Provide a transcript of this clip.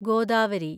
Godavari